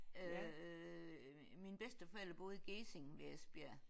Øh mine bedsteforældre boede i Gjesing ved Esbjerg